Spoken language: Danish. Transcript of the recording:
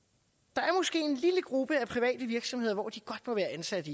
der er måske en lille gruppe af private virksomheder hvor de godt må være ansat